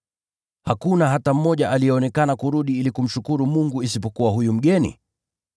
Hakuna hata mmoja aliyeonekana kurudi ili kumshukuru Mungu isipokuwa huyu mgeni?”